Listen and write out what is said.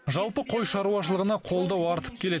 жалпы қой шаруашылығына қолдау артып келеді